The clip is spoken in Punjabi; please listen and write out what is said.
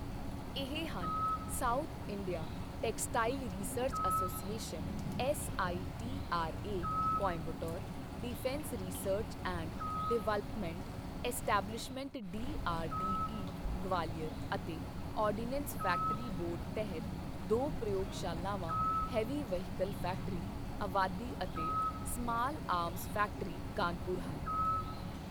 ਇਹ ਹਨ South India textile research association S I T R A, Coimbatore, defence research and development establishment D R D E, Gwalior ਅਤੇ ਆਰਡੀਨੈਂਸ ਫੈਕਟਰੀ ਬੋਰਡ ਤਹਿਤ ਦੋ ਪ੍ਰਯੋਗਸ਼ਲਾਵਾਂ ਹੈਵੀ ਵੈਹੀਕਲ ਫੈਕਟਰੀ, ਅਵਾਦੀ ਅਤੇ ਸਮਾਲ ਆਰਮਜ਼ ਫੈਕਟਰੀ, ਕਾਨਪੁਰ ਹਨ।